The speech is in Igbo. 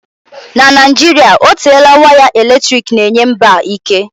Na Naijiria otela waya eletrik na-enye mba a ike.